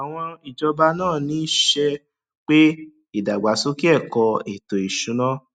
àwọn ìjọba náà ń ní ṣe pé ìdàgbàsókè ẹkọ ètò ìsúná